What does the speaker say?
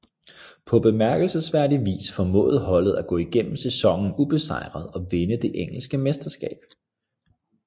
På bemærkelsesværdig vis formåede holdet at gå igennem sæsonen ubesejret og vinde det engelske mesterskab